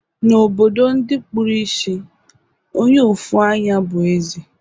Na obodo ndi kpuru isì, Onye ofu anyá bu eze